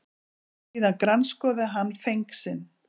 Síðan grandskoðaði hann feng sinn.